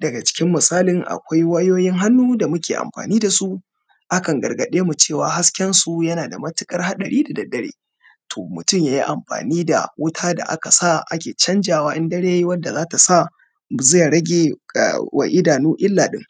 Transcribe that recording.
Daga cikin misalin akwai wayoyin hannu da muke amfani dasu, akan gargademu cewa haskensu yana da matuƙar haɗari da daddare, to mutum ya yi amfani da wuta da aka sa ake canjawa in dare yayi wanda zata sa ze ragewa idanu ila din.